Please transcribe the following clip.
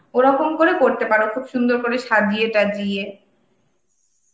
ওরকম করে করতে পারো, খুব সুন্দর করে সাজিয়ে সাজিয়ে.